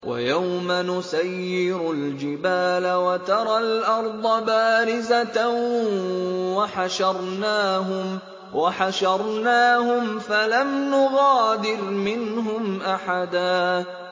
وَيَوْمَ نُسَيِّرُ الْجِبَالَ وَتَرَى الْأَرْضَ بَارِزَةً وَحَشَرْنَاهُمْ فَلَمْ نُغَادِرْ مِنْهُمْ أَحَدًا